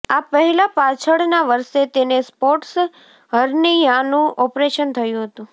આ પહેલા પાછળના વર્ષે તેને સ્પોર્ટસ હર્નિયાનું ઓપરેશન થયુ હતુ